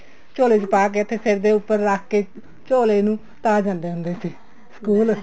ਝੋਲੇ ਚ ਪਾ ਕੇ ਤੇ ਸਿਰ ਦੇ ਉੱਪਰ ਰੱਖ ਕੇ ਝੋਲੇ ਨੂੰ ਤਾਂ ਜਾਂਦੇ ਹੁੰਦੇ ਸੀ ਸਕੂਲ